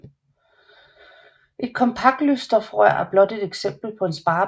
Et kompaktlysstofrør er blot et eksempel på en sparepære